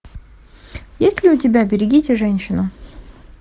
есть ли у тебя берегите женщину